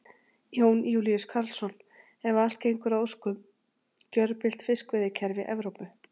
Jón Júlíus Karlsson: Ef að allt gengur að óskum, gjörbylt fiskveiðikerfi Evrópu?